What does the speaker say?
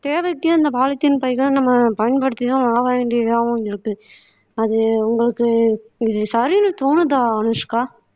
தேவைக்கே இந்த polythene பைகளை நம்ம பயன்படுத்திதான் ஆக வேண்டியதாகவும் இருக்கு அது உங்களுக்கு இது சரின்னு தோணுதா அனுஷ்கா